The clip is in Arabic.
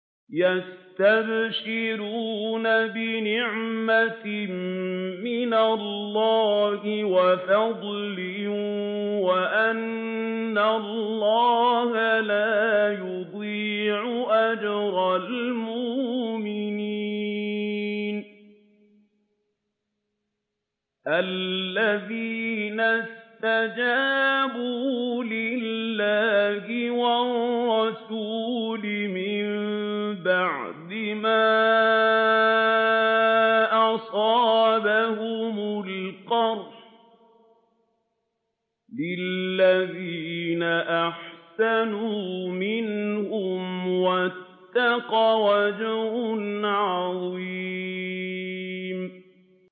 ۞ يَسْتَبْشِرُونَ بِنِعْمَةٍ مِّنَ اللَّهِ وَفَضْلٍ وَأَنَّ اللَّهَ لَا يُضِيعُ أَجْرَ الْمُؤْمِنِينَ